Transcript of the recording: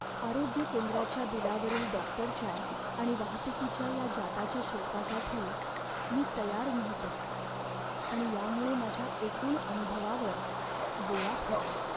आरोग्य केंद्राच्या बिलावरील डॉक्टरच्या आणि वाहतूकीच्या या जादाच्या शुल्कासाठी मी तयार नव्हतो आणि यामुळे माझ्या एकूण अनुभवावर बोळा फिरला.